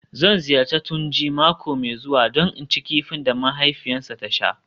Zan ziyarci Tunji mako mai zuwa don in ci kifi da mahaifiyarsa ta sha